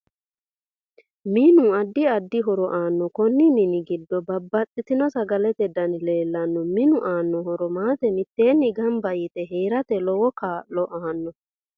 MInu addi addi horo aanno konni mini giddo babbaxitino sagalete dani leelanno minu aanno horo maata mitteeni ganba yite heeerate lowo kaa'lo aanno